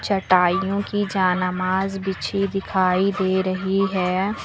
चटाइयों की जा ना माज बिछी दिखाई दे रही है।